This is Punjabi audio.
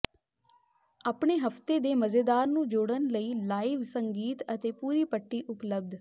ਆਪਣੇ ਹਫਤੇ ਦੇ ਮਜ਼ੇਦਾਰ ਨੂੰ ਜੋੜਨ ਲਈ ਲਾਈਵ ਸੰਗੀਤ ਅਤੇ ਪੂਰੀ ਪੱਟੀ ਉਪਲਬਧ